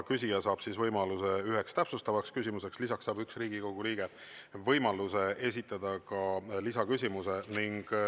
Küsija saab võimaluse üheks täpsustavaks küsimuseks, lisaks saab üks Riigikogu liige võimaluse esitada ka lisaküsimuse.